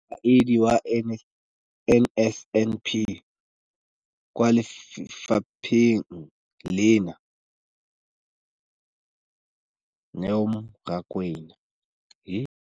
Mokaedi wa NSNP kwa lefapheng leno, Neo Rakwena.